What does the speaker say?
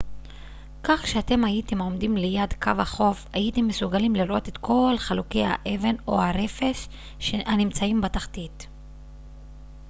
כך שאם הייתם עומדים ליד קו החוף הייתם מסוגלים לראות את כל חלוקי האבן או הרפש הנמצאים בתחתית